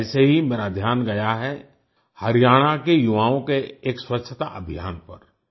ऐसे ही मेरा ध्यान गया है हरियाणा के युवाओं के एक स्वच्छता अभियान पर